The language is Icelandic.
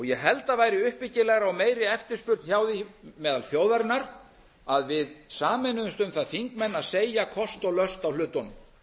ég held að væri uppbyggilegra og meiri eftirspurn hjá því meðal þjóðarinnar að við sameinuðumst um það þingmenn að segja kosti og löst á hlutunum